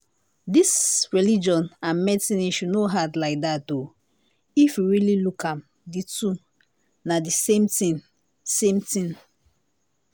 this religion and medicine issue no hard like that o if we really look am the two na the same thing same thing